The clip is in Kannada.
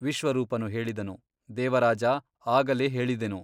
ವಿಶ್ವರೂಪನು ಹೇಳಿದನು ದೇವರಾಜಾ ಆಗಲೇ ಹೇಳಿದೆನು.